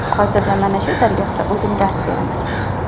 Hozirda mana shu dargohda o‘zim dars beraman.